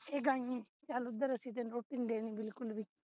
ਏ ਗਾਈ ਚਲ ਉਪਰ ਅਸੀਂ ਤੇਨੂੰ ਰੋਟੀ ਨਹੀਂ ਦੇਣੀ ਬਿਲਕੁਲ ਵੀ